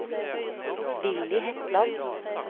Willy Hetland